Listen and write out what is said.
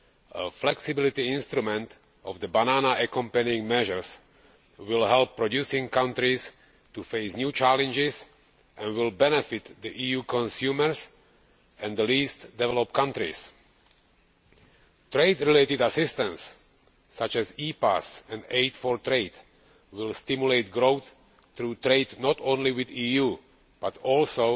A flexibility instrument in the Banana Accompanying Measures will help producing countries face new challenges and will benefit EU consumers and the least developed countries. Trade related assistance, such as EPAs and Aid for Trade, will stimulate growth through trade not only with the EU, but also